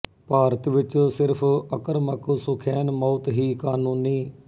ਭਾਰਤ ਵਿੱਚ ਸਿਰਫ਼ ਅਕਰਮਕ ਸੁਖੈਨ ਮੌਤ ਹੀ ਕਾਨੂੰਨੀ